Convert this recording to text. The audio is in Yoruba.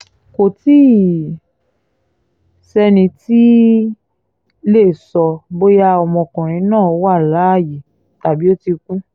kò tí ì sẹ́ni tó tí ì lè sọ bóyá ọmọkùnrin náà wà láàyè tàbí ó ti kú